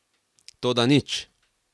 Toda nič!